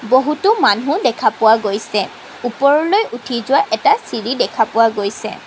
বহুটো মানুহ দেখা পোৱা গৈছে ওপৰলৈ উঠি যোৱা এটা চিৰি দেখা পোৱা গৈছে।